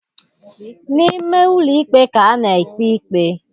N'ime ụlọikpe ka a na-ekpe ikpe.